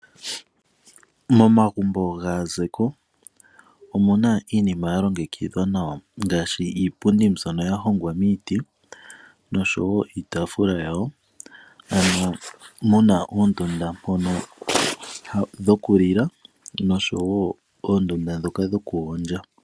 Momagumbo gaahumi omuna iinima ya longekidhwa nawa ngaashi iipundi mbyono ya hongwa miiti noshowo iitaafula yawo. Omuna oondunda ndhono dhokulila noshowo oondunda ndhoka dhokugondja.